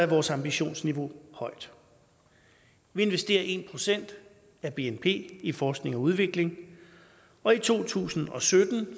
vores ambitionsniveau højt vi investerer en procent af bnp i forskning og udvikling og i to tusind og sytten